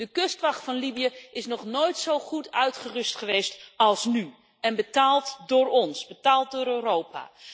De kustwacht van Libië is nog nooit zo goed uitgerust geweest als nu en is betaald door ons, betaald door Europa.